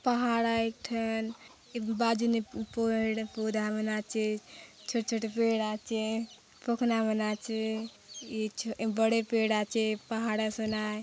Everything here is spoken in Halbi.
पहाड़ आय एक ठन ये बाजु ने पुडा मन आचे छोटे - छोटे पेड़ आछे पखना मन आचे ये बड़े पेड़ आचे पहाड़ असन आय।